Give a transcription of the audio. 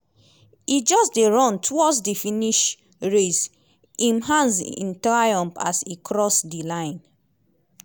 e just dey run towards di finish raise im hands in triumph as e cross di line.